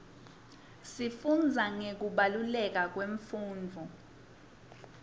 sifundza ngekubaluleka kwemfundvo